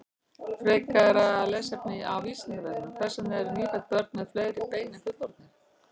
Frekara lesefni á Vísindavefnum: Hvers vegna eru nýfædd börn með fleiri bein en fullorðnir?